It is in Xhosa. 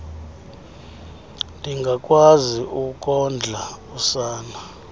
ndingakwazi ukondla usana